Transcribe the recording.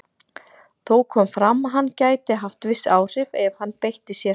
Þó kom fram að hann gæti haft viss áhrif ef hann beitti sér.